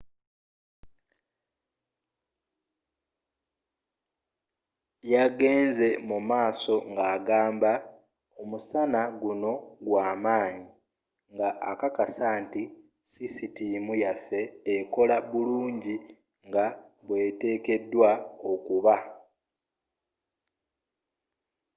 yagenze mumaaso nga agamba omusango gunno gwamaanyi nga akakasa nti sisitiimu yaffe ekola bulungi nga bweteekedwa okuba